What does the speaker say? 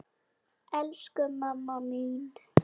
Elsku mamma mín!